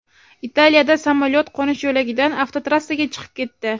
Italiyada samolyot qo‘nish yo‘lagidan avtotrassaga chiqib ketdi.